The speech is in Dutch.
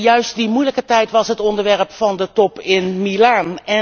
Juist die moeilijke tijd was het onderwerp van de top in Milaan.